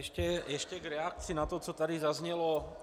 Ještě v reakci na to, co tady zaznělo.